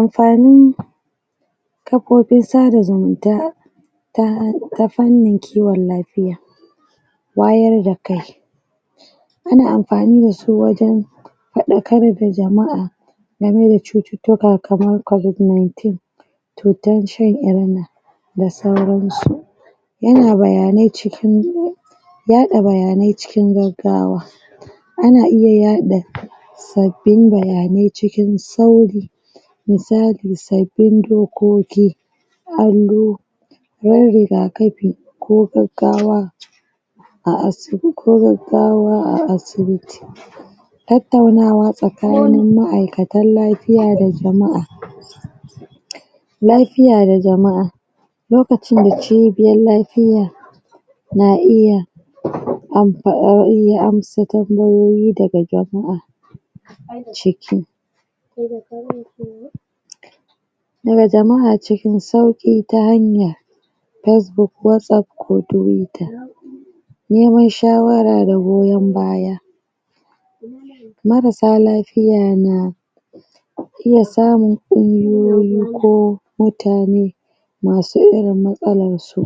amfanin kafofin sada zumunta ta ta fannin kiwon lafiya. wayar da kai ana amfani dashi wajen faɗakar da jama'a game da cututtuka kamar covid ninteen cutan sha inna da sauransu yana bayanai cikin yaɗa bayanai cikin gaggawa ana iya yaɗa sabbin bayanai cikin sauri misali sabbin dokoki na rigakafi ko gaggawa a asibi ko gaggawa a asibiti tattaunawa tsakanin ma'aikatan lafiya da jama'a lafiya da jama'a lokacin da cibiyar lafiya na iya anfa iya amsa tambayoyi daga jama'a ciki da jama'a cikin sauƙi ta hanyar fesbuk watsaf ko tuwita neman shawara da goyon baya marasa lafiya na iya samun ƙungiyoyi ko mutane masu irin matsalar su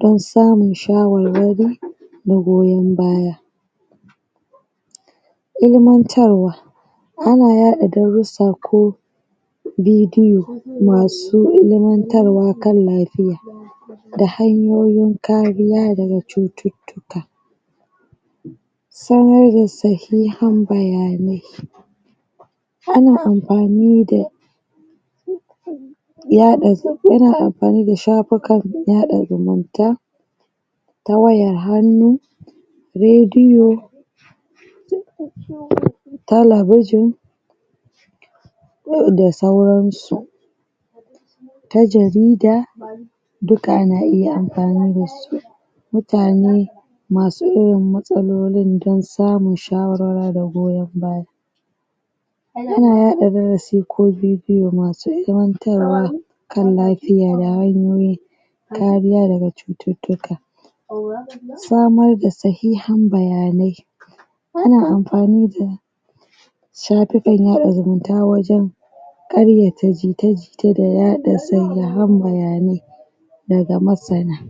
don samun shawarwari da goyon baya. ilmantarwa ana yaɗa darussa ko bidiyo masu ilmantarwa kan lafiya da hanyoyin kariya daga cututtuka samar da sahihan bayanai ana amfani da yaɗa ana amfani da shafukan yaɗa zumunta ta wayar hannu radiyo talabijin da sauran su ta jarida duka ana iya amfani dasu mutane masu irin matsalolin don samun shawarwara da goyon baya ana yaɗa darasi ko bidiyo masu ilmantarwa kan lafiya da hanyoyi kariya daga cututtuka. samar da sahihan bayanai ana amfani da shafukan yaɗa zumunta wajen ƙaryata jita-jita da yaɗa sahihan bayanai daga masana.